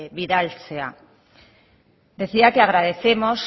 bidaltzea decía que agradecemos